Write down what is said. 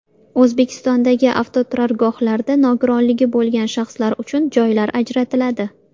O‘zbekistondagi avtoturargohlarda nogironligi bo‘lgan shaxslar uchun joylar ajratiladi.